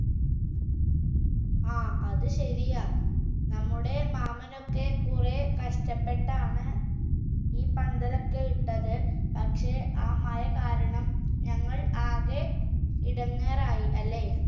ആ അതുശരിയാ നമ്മുടെ മാമനൊക്കെ കുറെ കഷ്ടപ്പെട്ടാണ് ഈ പന്തലൊക്കെ ഇട്ടത് പക്ഷെ ആ മഴ കാരണം ഞങ്ങൾ ആകെ ഇടങ്ങേറായി